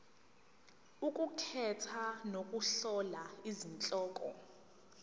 ukukhetha nokuhlola izihloko